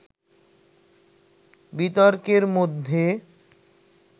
বিতর্কের মধ্যে